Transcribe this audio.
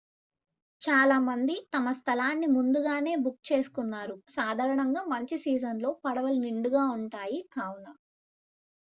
చాలా మంది తమ స్థలాన్ని ముందుగానే బుక్ చేసుకున్నారు సాధారణంగా మంచి సీజన్ లో పడవలు నిండుగా ఉంటాయి కావున